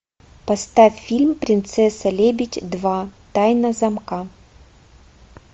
поставь фильм принцесса лебедь два тайна замка